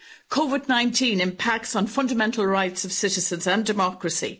COVID 19 impacts on fundamental rights of citizens and democracy.